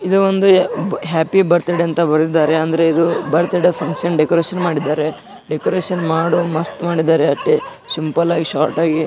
ಮಧ್ಯದಲ್ಲಿ happy birthday sticker ಅನ್ನು ಹಾಕಿದ್ದಾರೆ. ಇಲ್ಲಿ ಹುಡುಗ್ಯಾರು ಕೂತಿದ್ದಾರೆ.